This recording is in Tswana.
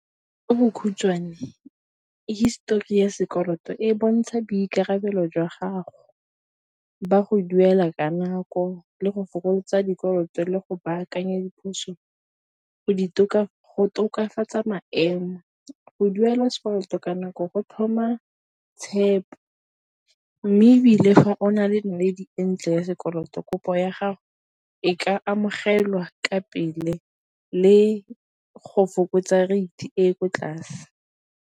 Ka bokhutshwane hisetori ya sekoloto e bontsha boikarabelo jwa gago, jwa go duela ka nako le go fokotsa dikoloto le go go tokafatsa maemo. Go duela sekoloto ka nako go tlhoma tshepo, mme ebile fa o na le e ntle ya sekoloto, kopo ya gago e ka amaogelwa ka pele le go fokotsa rate e e ko tlase.